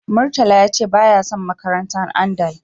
Murtala ya ce baya son makarantar Andal.